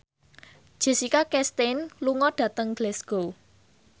Jessica Chastain lunga dhateng Glasgow